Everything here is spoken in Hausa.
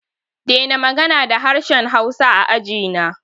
Dena magana da harshen hausa a ajina!